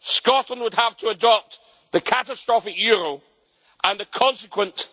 Scotland would have to adopt the catastrophic euro and the consequent